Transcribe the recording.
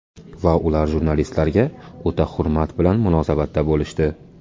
Va ular jurnalistlarga o‘ta hurmat bilan munosabatda bo‘lishdi.